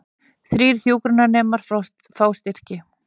Þrír hjúkrunarnemar fá styrki